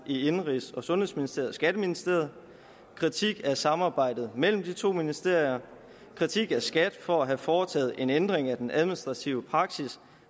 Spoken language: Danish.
i indenrigs og sundhedsministeriet og skatteministeriet kritik af samarbejdet mellem de to ministerier kritik af skat for at have foretaget en ændring af den administrative praksis